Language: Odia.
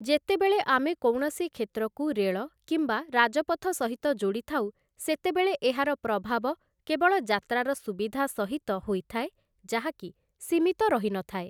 ଯେତେବେଳେ ଆମେ କୌଣସି କ୍ଷେତ୍ରକୁ ରେଳ କିମ୍ବା ରାଜପଥ ସହିତ ଯୋଡ଼ିଥାଉ, ସେତେବେଳେ ଏହାର ପ୍ରଭାବ କେବଳ ଯାତ୍ରାର ସୁବିଧା ସହିତ ହୋଇଥାଏ ଯାହାକି ସୀମିତ ରହି ନଥାଏ ।